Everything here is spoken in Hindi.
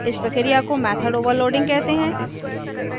इस प्रक्रिया को method overloading कहते हैं